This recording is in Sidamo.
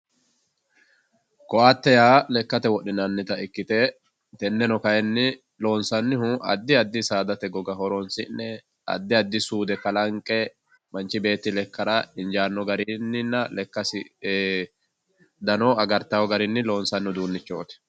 ko"atte yaa lekkate wodhinannita ikkite tenneno kayiinni loonsannihu addi addi saadate goga horoonsi'ne addi addi suude kalanqe manchi beetti lekkara injaanno garinninna lekkasi dano agartanno garinni loonsanni uduunnichooti